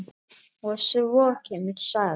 Og svo kemur saga: